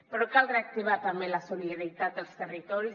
però cal reactivar també la solidaritat dels territoris